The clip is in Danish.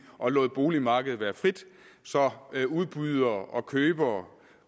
og lod boligmarkedet være frit så udbydere og købere